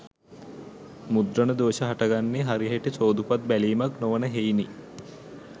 මුද්‍රණ දෝෂ හටගන්නේ හරිහැටි සෝදුපත් බැලීමක් නොවන හෙයිනි.